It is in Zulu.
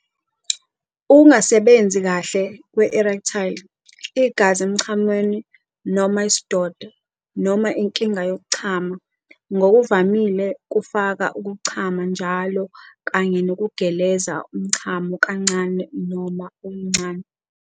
Ukungasebenzi kahle kwe-erectile, igazi emchamweni noma isidoda, noma inkinga yokuchama - ngokuvamile kufaka ukuchama njalo kanye nokugeleza umchamo kancane noma okuncane.